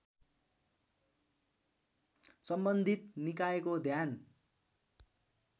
सम्बन्धित निकायको ध्यान